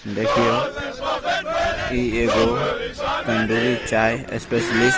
देखियो इ ईगो तंदूरी चाय स्पेस्लिस्ट --